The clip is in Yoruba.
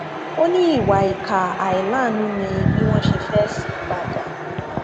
ó ní ìwà ìkà àìláàánú ni bí wọn ṣe fẹẹ sí i padà